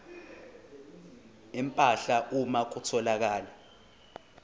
empahla uma kutholakala